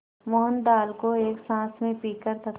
मोहन दाल को एक साँस में पीकर तथा